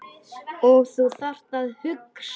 Og þú þarft að hugsa.